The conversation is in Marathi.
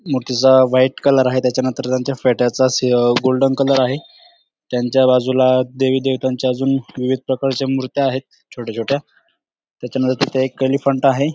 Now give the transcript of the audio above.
मूर्ती चा व्हाइट कलर आहे त्याच्या नंतर त्यांच्या फेट्या चा सी अ गोल्डन कलर आहे त्यांच्या बाजूला देविदेवतांच्या अजून विविध प्रकारच्या मुर्त्या आहेत छोट्या छोट्या त्याच्या नंतर तेथे एक एलेफनट आहे.